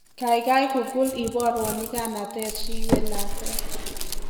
Kaikai google iborwo nyiganatet riwye lakwet